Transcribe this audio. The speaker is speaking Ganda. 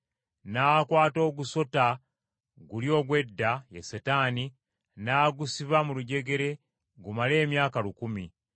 N’akwata ogusota guli ogw’edda, ye Setaani, n’agusiba mu lujegere gumale emyaka lukumi,